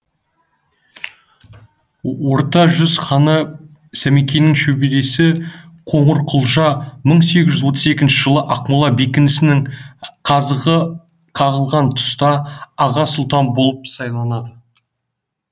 орта жүз ханы сәмекенің шөбересі қоңырқұлжа мың сегіз жқз отыз екінші жылы ақмола бекінісінің қазығы қағылған тұста аға сұлтан болып сайланады